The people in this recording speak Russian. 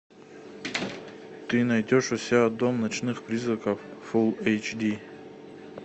ты найдешь у себя дом ночных призраков фул эйч ди